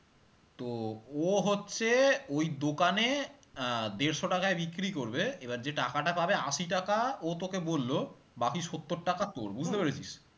তো ও হচ্ছে ওই দোকানে আহ দেড়শো টাকায় বিক্রি করবে এবার যে টাকাটা পাবে আশি টাকা ও তোকে বললো বাকি সত্তর টাকা তোর পেরেছিস?